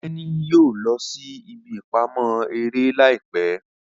Teni yóò lọ sí ìbí ìpamọ́ eré láìpé.